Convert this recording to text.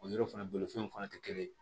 O yɔrɔ fana bolofɛn fana tɛ kelen ye